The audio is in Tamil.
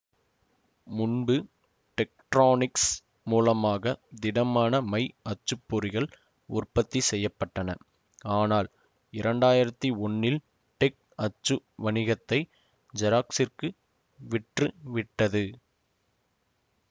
முன்பு டெக்ட்ரானிக்ஸ் மூலமாக திடமான மை அச்சு பொறிகள் உற்பத்தி செய்ய பட்டன ஆனால் இரண்டாயிரத்தி ஒன்னில் டெக் அச்சு வணிகத்தை ஜெராக்ஸிற்கு விற்று விட்டது